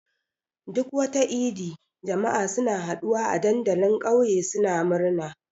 Duk wata idi, jama'a suna haɗuwa a dandalin ƙauye suna murna.